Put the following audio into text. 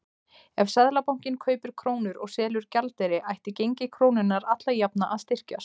Ef Seðlabankinn kaupir krónur og selur gjaldeyri ætti gengi krónunnar alla jafna að styrkjast.